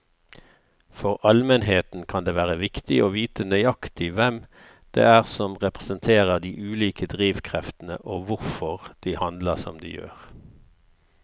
For allmennheten kan det være viktig å vite nøyaktig hvem det er som representerer de ulike drivkreftene og hvorfor de handler som de gjør.